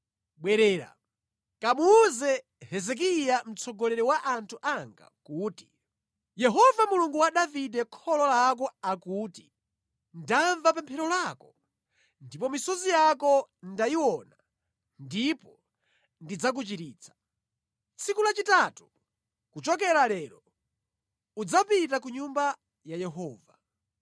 “Bwerera, kamuwuze Hezekiya mtsogoleri wa anthu anga kuti, ‘Yehova Mulungu wa Davide kholo lako akuti: Ndamva pemphero lako ndipo misozi yako ndayiona ndipo ndidzakuchiritsa. Tsiku lachitatu kuchokera lero udzapita ku Nyumba ya Yehova.